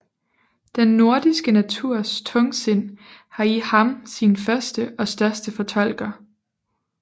Den nordiske naturs tungsind har i ham sin første og største fortolker